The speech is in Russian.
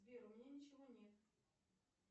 сбер у меня ничего нет